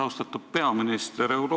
Austatud peaminister!